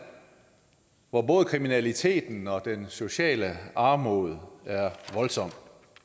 hvor både kriminaliteten og den sociale armod er voldsom